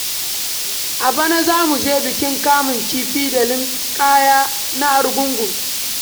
A bana za mu je bikin kamun kifi da linƙaya na Arugungun.